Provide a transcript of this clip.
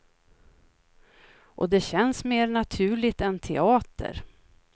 Och det känns mer naturligt än teater.